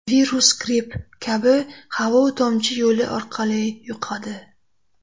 Virus gripp kabi havo-tomchi yo‘li orqali yuqadi.